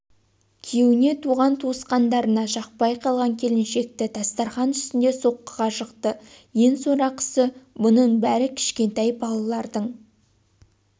күйеуіне туған туысқандарына жақпай қалған келіншекті дастархан үстінде соққыға жықты ең сорақысы бұның бәрі кішкентай балалардың